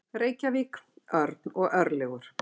Reykjavík, Örn og Örlygur